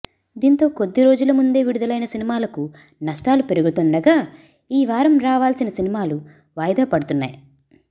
దీంతో కొద్దీ రోజుల ముందే విడుదలైన సినిమాలకు నష్టాలు పెరుగుతుండగా ఈ వారం రావాల్సిన సినిమాలు వాయిదా పడుతున్నాయి